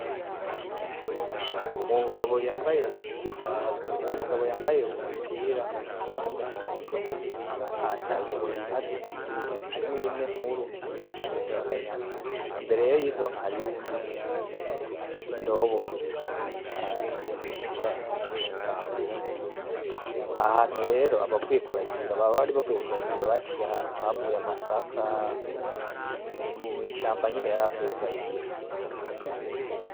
Umugabo yambaye, uwomugabo yambaye umupira w’umuhondo ayoboye inka zibiri harimwo imwe nkuru n’akandi gatoya k’akanyana imbere rero y’izo nka hariyo uyundi muntu afise indobo n’umupira utukura n’ipantaro yirabura ahahantu rero aba bari bavuye kuragira baca ahantu havuye amasaka ni mu ishamba nyene yaravuye kuragira